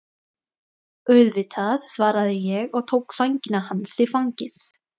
Auðvitað, svaraði ég og tók sængina hans í fangið.